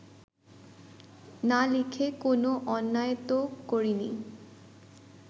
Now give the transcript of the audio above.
না লিখে কোন অন্যায় তো করিনি